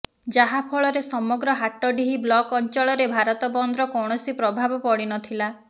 ଯାହା ଫଳରେ ସମଗ୍ର ହାଟଡିହି ବ୍ଲକ ଅଞ୍ଚଳରେ ଭାରତବନ୍ଦର କୌଣସି ପ୍ରଭାବ ପଡିନଥିଲା